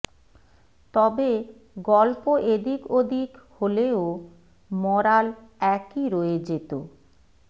তবে গল্প এদিক ওদিক হলেও মরাল একই রয়ে যেত